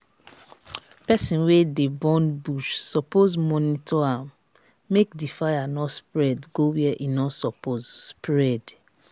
persin wey de burn bush suppose monitor am make di fire no spread go where e no suppose spread